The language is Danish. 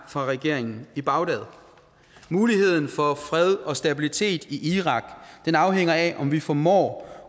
fra regeringen i bagdad er muligheden for fred og stabilitet i irak afhænger af om vi formår